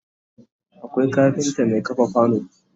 Akwai kafinta Mai kafa kwano